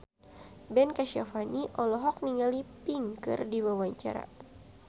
Ben Kasyafani olohok ningali Pink keur diwawancara